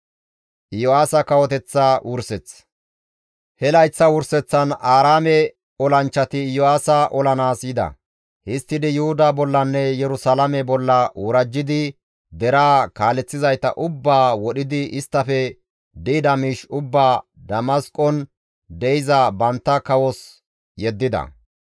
He layththa wurseththan Aaraame olanchchati Iyo7aasa olanaas yida; histtidi Yuhuda bollanne Yerusalaame bolla worajjidi deraa kaaleththizayta ubbaa wodhidi isttafe di7ida miish ubbaa Damasqon de7iza bantta kawos yeddida.